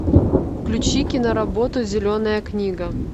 включи киноработу зеленая книга